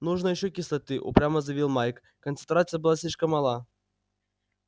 нужно ещё кислоты упрямо заявил майк концентрация была слишком мала